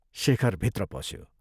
शेखर भित्र पस्यो।